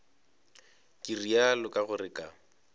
ke realo ka gore ka